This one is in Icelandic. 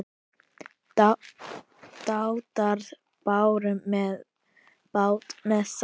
Dátar báru bát með sann.